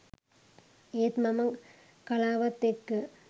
ඒත් මම කලාවත් එක්ක